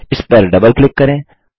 इसपर double click करें